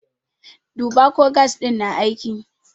Duba ko gas ɗin na aiki!